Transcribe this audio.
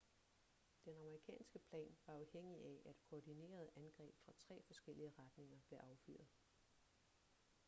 den amerikanske plan var afhængig af at koordinerede angreb fra tre forskellige retninger blev affyret